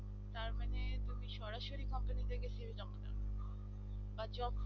তারমানে তুমি সরাসরি company তে cv জমা দাও বা job